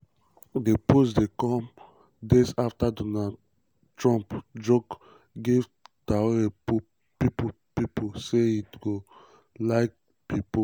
di post dey come days afta trump joke give tori pipo pipo say e go um like be pope.